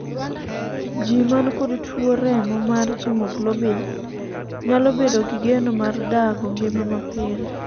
jii man kod tuo remo mar haemoglobin nyalo bedo gi geno mar dago ngima mapile